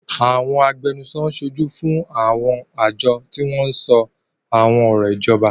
Àwọn agbẹnusọ ń ṣojú fún àwọn àjọ tí wọ́n ń sọ àwọn ọ̀rọ̀ ìjọba.